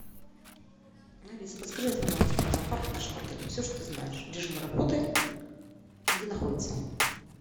алиса подскажи информацию про зоопарк в нашем отеле все что ты знаешь режим работы и где находится